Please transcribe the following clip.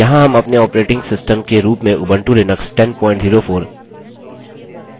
अतः सीखते हैं कि यह सब कैसे करें